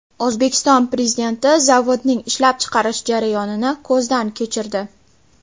O‘zbekiston Prezidenti zavodning ishlab chiqarish jarayonini ko‘zdan kechirdi.